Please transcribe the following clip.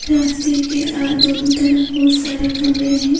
रास्ते के अ दोनों तरफ बहुत सारे कमरे है।